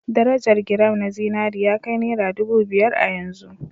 Darajar giram na zinari ya kai naira ɗubu biyar a yanzu